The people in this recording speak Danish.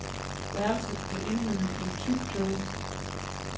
Værelset blev indhyllet i tyk tåge.